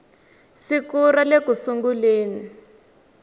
siku ra le ku sunguleni